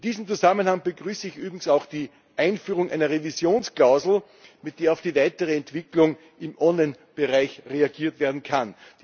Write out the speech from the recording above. In diesem Zusammenhang begrüße ich übrigens auch die Einführung einer Revisionsklausel, mit der auf die weitere Entwicklung im Online Bereich reagiert werden kann.